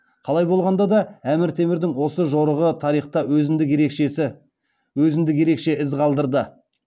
қалай болғанда да әмір темірдің осы жорығы тарихта өзіндік ерекшеіз қалдырды